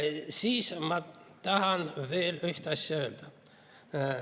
Ja ma tahan veel üht asja öelda.